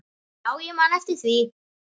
Já, ég man eftir því.